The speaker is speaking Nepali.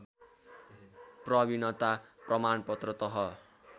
प्रविणता प्रमाणपत्र तह